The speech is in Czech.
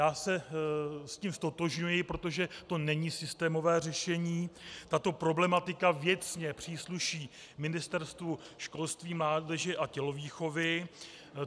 Já se s tím ztotožňuji, protože to není systémové řešení, tato problematika věcně přísluší Ministerstvu školství, mládeže a tělovýchovy.